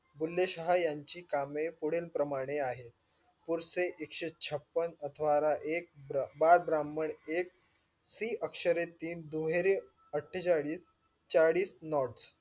बुले शहा यांची कामे पुढील प्रमाणे आहेत. पुरचे एकशे छप्पन अथ्वारा एक बाल ब्राम्हण एक शी अख्सरे तीन दुहेरी अत्थ्जेच्लीस चाळीस nots.